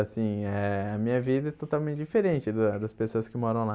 Assim eh a minha vida é totalmente diferente de lá das pessoas que moram lá.